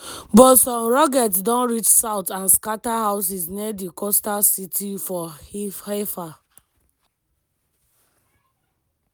but some rockets don reach south and scata houses near di coastal city for haifa.